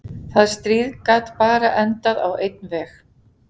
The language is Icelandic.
Það stríð gat bara endað á einn veg.